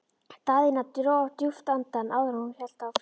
Daðína dró djúpt andann áður en hún hélt áfram.